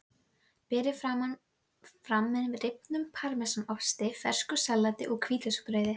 Berið fram með rifnum parmesanosti, fersku salati og hvítlauksbrauði.